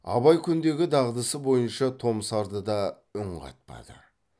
абай күндегі дағдысы бойынша томсарды да үн қатпады